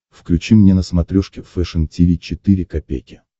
включи мне на смотрешке фэшн ти ви четыре ка